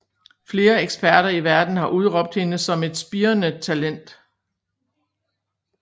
Flere eksperter i verden har udråbt hende som et spirrende talent